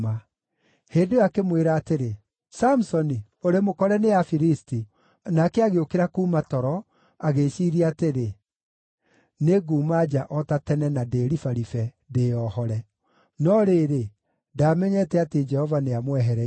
Hĩndĩ ĩyo akĩmwĩra atĩrĩ, “Samusoni, ũrĩ mũkore nĩ Afilisti!” Nake agĩũkĩra kuuma toro, agĩĩciiria atĩrĩ, “Nĩnguuma nja o ta tene na ndĩĩribaribe, ndĩĩohore.” No rĩrĩ, ndaamenyete atĩ Jehova nĩamwehereire.